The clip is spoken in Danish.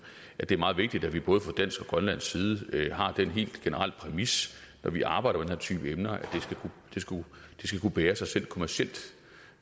at det er meget vigtigt at vi både fra dansk og grønlandsk side har den helt generelle præmis når vi arbejder her type emner at det skal kunne bære sig selv kommercielt